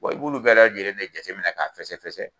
Wa i b'olu bɛɛ lajɛlen de jateminɛ k'a fɛsɛfɛsɛ